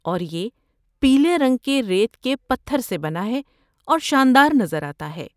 اور یہ پیلے رنگ کے ریت کے پتھر سے بنا ہے اور شاندار نظر آتا ہے۔